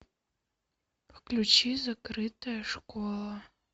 включи закрытая школа